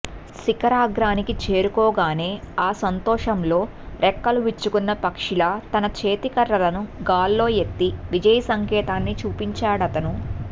శిఖరాగ్రానికి చేరుకోగానే ఆ సంతోషంలో రెక్కలు విచ్చుకున్న పక్షిలా తన చేతికర్రలను గాల్లో ఎత్తి విజయసంకేతాన్ని చూపించాడతను